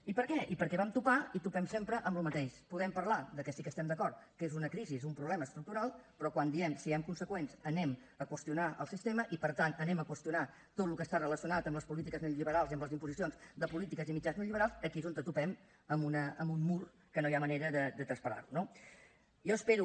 i per què perquè vam topar i topem sempre amb el mateix podem parlar de que sí que estem d’acord que és una crisi és un problema estructural però quan diem siguem conseqüents anem a qüestionar el sistema i per tant anem a qüestionar tot el que està relacionat amb les polítiques neoliberals i amb les imposicions de polítiques i mitjans neoliberals aquí és on topem amb un mur que no hi ha manera de traspassar lo no jo espero